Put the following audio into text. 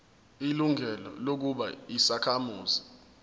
ilungelo lokuba yisakhamuzi